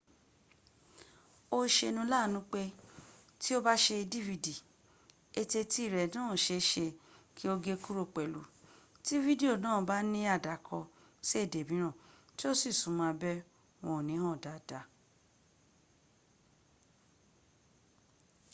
ó ṣeni láàánú pé tí o bá ṣe dvd eteti rẹ náà ṣe é ṣe kí ó gé kúrò pẹ̀lú tí fídíò náà bá ní àdàkọ sií èdè mìíràn tí o sì súnmọ́ abẹ́ wọn ò ní hàn dáadáa